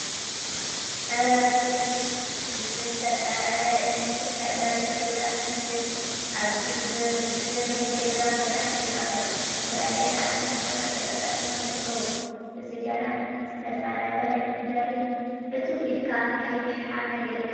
ኣረ ጉድ እዩ! ብዝተጸረበ እምኒ ልኽዕ በሪ ገዛ ትመስል። ኣብዚ ብሪ ገዛ መብራህቲ ኣሎ። ዝተፈላለዩ ሓጺን ቱቦታት ተገጣጢሞም ይርክቡ። እዚ ገራሚ ዝተጸረበ እምኒ በሪ እትው ኢልካ ቀይሕ ሓመድ ይርከብ።